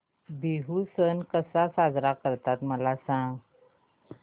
बिहू सण कसा साजरा करतात मला सांग